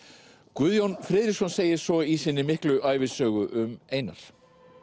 Guðjón Friðriksson segir svo í sinni miklu ævisögu um Einar